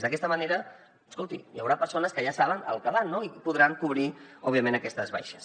d’aquesta manera escolti hi haurà persones que ja saben al que van i podran cobrir òbviament aquestes baixes